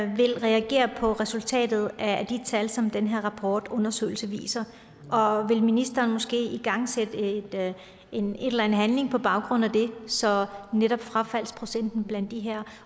vil reagere på resultatet af de tal som den her rapport undersøgelse viser og vil ministeren måske igangsætte en eller anden handling på baggrund af det så netop frafaldsprocenten blandt de her